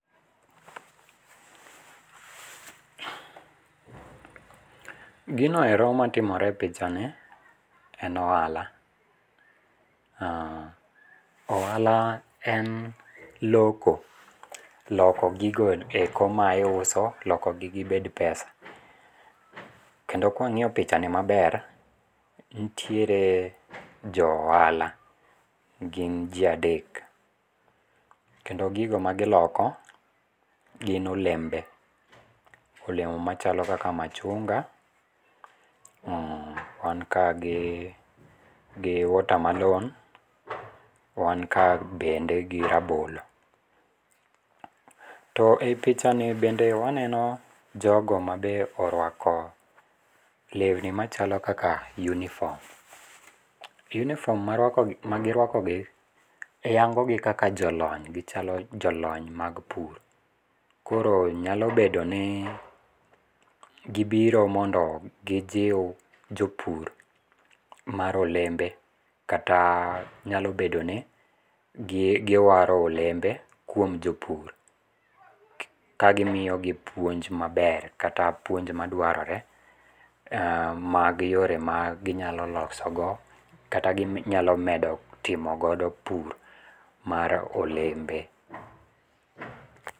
Gino ero matimore e pichani en ohala, ohala en loko. Loko gigo eko ma iuso, lokogi gibed pesa. Kendo kwang'iyo pichani maber, nitiere jo ohala. Gin ji adek. Kendo gigo magiloko gin olembe. Olemo machalo kaka machunga, wan ka gi watermelon, wan ka bende gi rabolo. To e pichani bende waneno jogo ma be orwako lewni machalo kaka uniform. Uniform magirwakogi, yango gi kaka jolony. Gichalo jolony mag pur. Koro nyalo bedo ni gibiro mondo gijiw jopur mar olembe kata nyalo bedoni giwaro olembe kuom jopur, kagimiyogi puonj maber kata puonj madwarore mag yore ma ginyalo losogo kata ginyalo medo timo godo pur mar olembe.